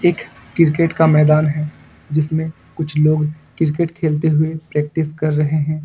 एक क्रिकेट का मैदान है जिसमें कुछ लोग क्रिकेट खेलते हुए प्रैक्टिस कर रहे हैं।